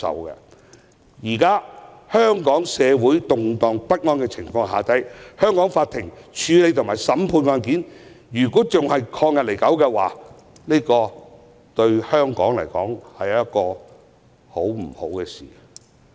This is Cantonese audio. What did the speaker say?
現時香港社會動盪不安，香港法庭處理及審判案件仍然曠日持久的話，對香港並非好事。